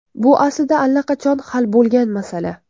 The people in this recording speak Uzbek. Bu aslida allaqachon hal bo‘lgan masala.